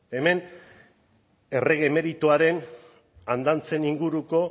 hemen errege emeritoaren andantzen inguruko